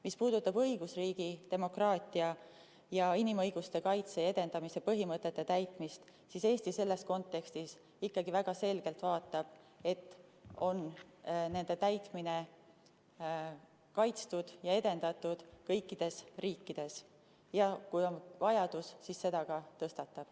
Mis puudutab õigusriigi, demokraatia ja inimõiguste kaitse ja edendamise põhimõtete täitmist, siis Eesti selles kontekstis vaatab ikkagi väga selgelt, et nende täitmine oleks kaitstud ja edendatud kõikides riikides, ja kui on vajadus, siis selle probleemi ka tõstatab.